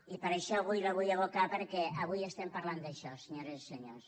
i per això avui la vull evocar perquè avui estem parlant d’això senyores i senyors